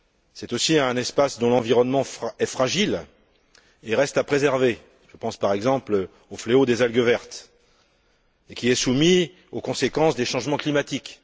C'est aussi un espace dont l'environnement est fragile et reste à préserver je pense par exemple au fléau des algues vertes et qui est soumis aux conséquences des changements climatiques.